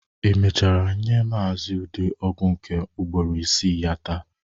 Ị mechara nye Maazi Ude ọgwụ nke ugburo isii ya taa?